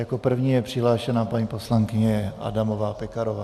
Jako první je přihlášena paní poslankyně Adamová Pekarová.